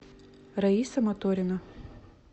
раиса моторина